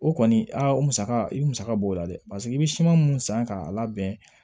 O kɔni a musaka i bi musaka bɔ o la dɛ paseke i bi siman mun san k'a labɛn